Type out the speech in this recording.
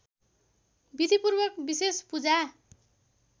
विधिपूर्वक विशेष पूजा